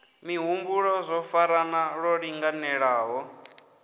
mihumbulo zwo farana lwo linganelaho